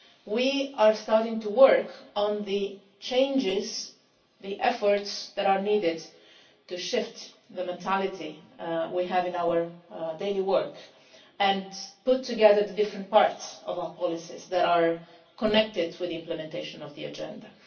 we are starting to work on the changes, the efforts, that are needed to shift the mentality we have in our daily work and put together the different parts of our policies that are connected with the implementation of the Agenda.